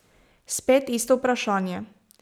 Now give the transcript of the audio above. Spet isto vprašanje.